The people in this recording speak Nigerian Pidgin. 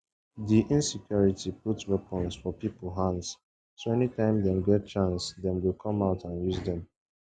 di insecurity put weapons for pipo hands so anytime dem get chance dem go come out and use dem